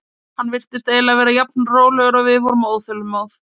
Hann virtist eiginlega vera jafn rólegur og við vorum óþolinmóð.